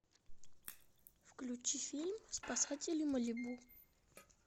включи фильм спасатели малибу